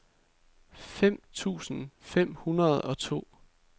fem tusind fem hundrede og to